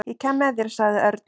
Ég kem með þér sagði Örn.